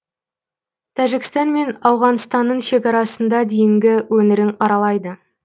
тәжікстан мен ауғаныстанның шекарасында дейінгі өңірін аралайды